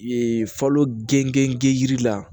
Ee falo gengen yiri la